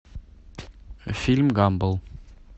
фильм гамбл